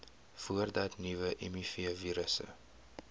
voordat nuwe mivirusse